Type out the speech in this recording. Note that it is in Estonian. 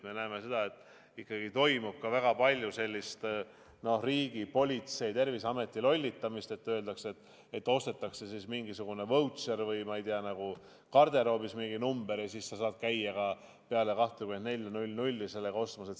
Me näeme, et ikkagi toimub väga palju sellist riigi, politsei, Terviseameti lollitamist, kui öeldakse, et ostetakse mingisugune vautšer või, ma ei tea, saadakse garderoobis mingi number ja siis sa saad käia ka peale kella 24 sellega ostmas.